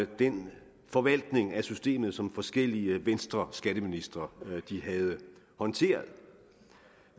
den forvaltning af systemet som forskellige venstreskatteministre havde håndteret